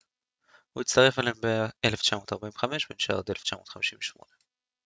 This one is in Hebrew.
הוא הצטרף אליהם ב-1945 ונשאר עד 1958